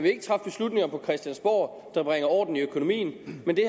ikke træffe beslutninger på christiansborg som bringer orden i økonomien men det